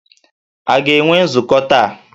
A ga-enwe nzukọ taa?